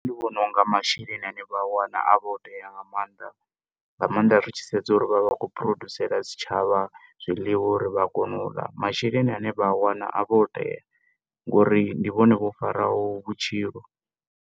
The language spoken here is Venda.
Ndi vhona unga masheleni ane vha a wana a vha o tea nga mannḓa nga mannḓa ri tshi sedza uri vhavha vha khou produsela tshi tshavha zwiḽiwa uri vha kone u ḽa masheleni ane vha a wana a vha o tea ngauri ndi vhone vho faraho divhavhupo gonyisela zwitshavha zwiori vhutshilo.